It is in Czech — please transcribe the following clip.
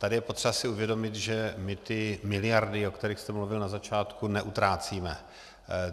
Tady je potřeba si uvědomit, že my ty miliardy, o kterých jste mluvil na začátku, neutrácíme.